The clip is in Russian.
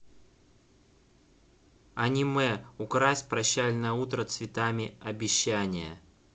аниме укрась прощальное утро цветами обещания